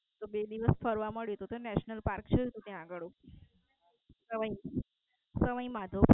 તો બે દિવસ ફરવા મળ્યું તું ત્યાં National Park છેને ત્યાં અગાળુ.